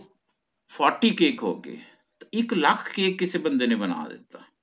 fourty cake ਹੋਗੇ ਇੱਕ lakh cake ਕਿਸੇ ਬੰਦੇ ਨੇ ਬਣਾ ਲੀਤਾ